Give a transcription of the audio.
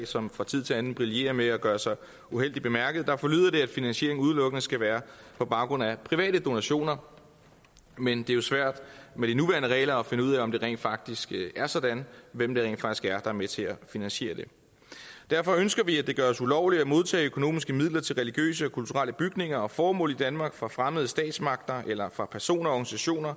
som fra tid til anden brillerer med at gøre sig uheldigt bemærket der forlyder det at finansieringen udelukkende skal være på baggrund af private donationer men det er svært med de nuværende regler at finde ud af om det rent faktisk er sådan og hvem det rent faktisk er er med til at finansiere det derfor ønsker vi at det gøres ulovligt at modtage økonomiske midler til religiøse og kulturelle bygninger og formål i danmark fra fremmede statsmagter eller fra personer og